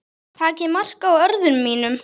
Takið mark á orðum mínum.